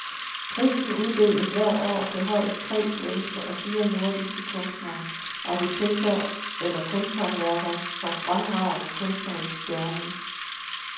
Prisen uddeles hvert år til højst tre svenske og fire nordiske kunstnere, arkitekter eller kunsthåndværkere for fremragende kunstnerisk gerning.